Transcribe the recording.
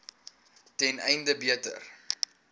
ten einde beter